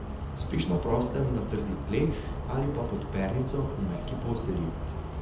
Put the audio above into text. Spiš na prostem na trdih tleh ali pa pod pernico v mehki postelji?